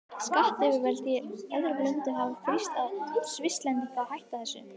Skattyfirvöld í öðrum löndum hafa þrýst á Svisslendinga að hætta þessu.